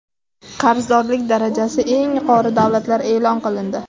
Qarzdorlik darajasi eng yuqori davlatlar e’lon qilindi.